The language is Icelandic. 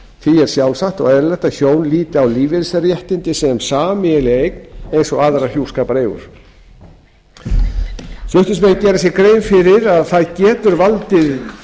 er sjálfsagt og eðlilegt að hjón líti á lífeyrisréttindi sem sameiginlega eign eins og aðrar hjúskapareignir flutningsmenn gera sér grein fyrir að það getur valdið